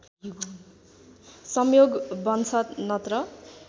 संयोग बन्छ नत्र